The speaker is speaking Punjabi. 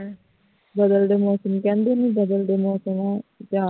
ਬਦਲਦੇ ਮੌਸਮ ਕਹਿੰਦੇ ਇਹਨੂੰ ਬਦਲਦੇ ਮੌਸਮਾਂ